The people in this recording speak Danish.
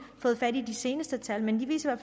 fået fat i de seneste tal men de viser i